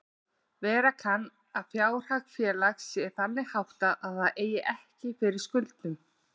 Vera kann að fjárhag félags sé þannig háttað að það eigi ekki fyrir skuldum.